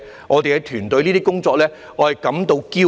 我對我團隊的工作感到驕傲。